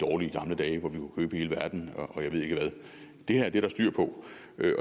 dårlige gamle dage hvor vi kunne købe hele verden og jeg ved ikke hvad det her er der styr på